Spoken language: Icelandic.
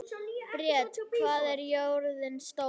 Briet, hvað er jörðin stór?